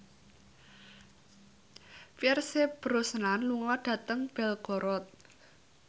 Pierce Brosnan lunga dhateng Belgorod